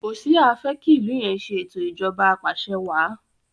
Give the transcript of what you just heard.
Hoṣea fe ki ilú yén se eto Ìṣèjọba Apàṣẹwàá